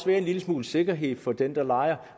være en lille smule sikkerhed for den der lejer